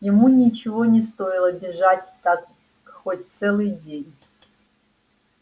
ему ничего не стоило бежать так хоть целый день